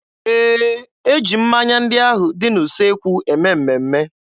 Ee, e ji mmanya ndị ahụ dị n'usekwu eme mmemme.